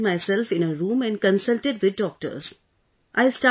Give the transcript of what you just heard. I isolated myself in a room and consulted with doctors